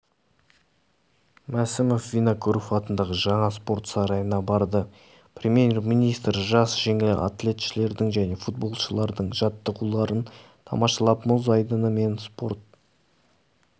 мәсімоввинокуров атындағы жаңа спорт сарайына барды премьер-министржасжеңіл атлетшілердің және футболшылардың жаттығуыларын тамашалап мұз айдыны мен спорт